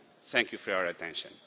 Thank you for your attention.